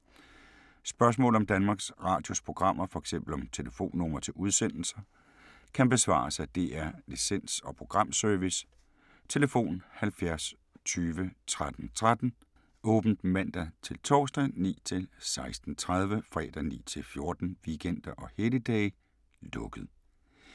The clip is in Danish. Spørgsmål om Danmarks Radios programmer, f.eks. om telefonnumre til udsendelser, kan besvares af DR Licens- og Programservice: tlf. 70 20 13 13, åbent mandag-torsdag 9.00-16.30, fredag 9.00-14.00, weekender og helligdage: lukket.